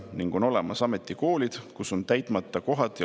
Ning on olemas ametikoolid, kus on täitmata kohad.